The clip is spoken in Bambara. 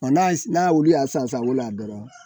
Ɔ n'a wuli y'a san san